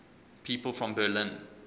people from berlin